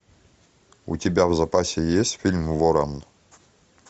у тебя в запасе есть фильм ворон